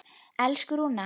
Elsku Rúna.